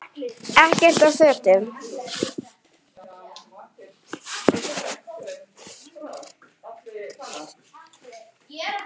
Ekkert af fötum